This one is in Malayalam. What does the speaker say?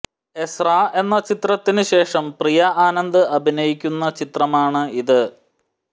എസ്രാ എന്ന ചിത്രത്തിന് ശേഷം പ്രിയ ആനന്ദ് അഭിനയിക്കുന്ന ചിത്രമാണ് ഇത്